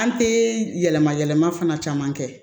An tɛ yɛlɛma yɛlɛma fana caman kɛ